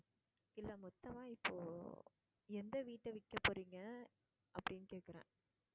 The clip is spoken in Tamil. இல்ல மொத்தமா இப்போ எந்த வீட்ட விற்கப்போறீங்க அப்படின்னு கேக்குறேன்.